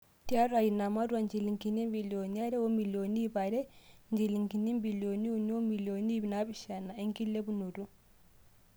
Tiatua ina matua, injilingini ibilioni are o milioni iip are o njilingini ibilioni uni o milioni iip naapishana enkilepunoto.